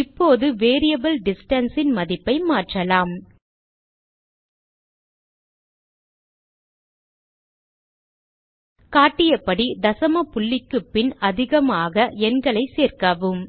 இப்போது variable distance ன் மதிப்பை மாற்றலாம் காட்டியபடி தசம புள்ளிக்கு பின் அதிகமாக எண்களை சேர்க்கவும்